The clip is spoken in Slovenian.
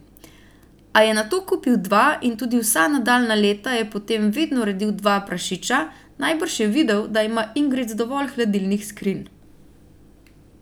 A je nato kupil dva in tudi vsa nadaljnja leta je potem vedno redil dva prašiča, najbrž je videl, da ima Ingrid dovolj hladilnih skrinj.